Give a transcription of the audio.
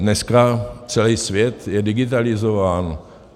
Dneska celý svět je digitalizován.